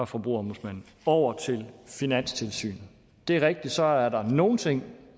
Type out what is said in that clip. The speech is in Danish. forbrugerombudsmanden over til finanstilsynet det er rigtigt at så er der nogle ting